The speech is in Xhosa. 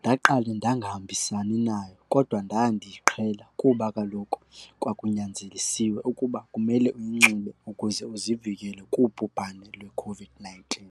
Ndaqale ndangahambisani nayo kodwa ndaya ndiyiqhela kuba kaloku kwakunyanzelisiwe ukuba kumele uyinxibe ukuze uzivikele kubhubhane lweCOVID-nineteen.